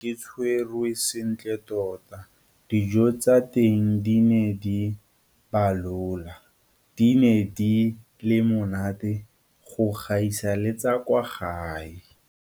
Ke ne ke tshwerwe sentle tota. Dijo tsa teng di ne di balola di ne di le monate go gaisa le tsa kwa gae.